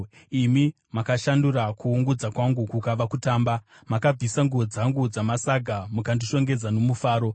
Imi makashandura kuungudza kwangu kukava kutamba; makabvisa nguo dzangu dzamasaga mukandishongedza nomufaro,